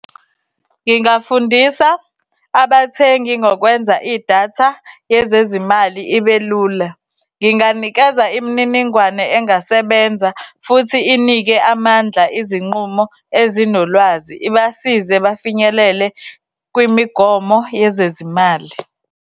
Ngingafundisa abathengi ngokwenza idatha yezezimali ibelula. Nginganikeza imininingwane engasebenza futhi inike amandla izinqumo ezinolwazi ibasize bafinyelele kwimigomo yezezimali.